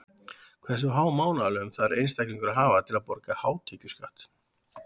Hversu há mánaðarlaun þarf einstaklingur að hafa til að borga hátekjuskatt?